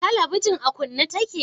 Telebijin a kunne ta ke?